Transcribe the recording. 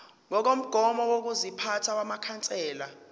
ngokomgomo wokuziphatha wamakhansela